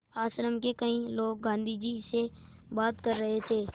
आश्रम के कई लोग गाँधी जी से बात कर रहे थे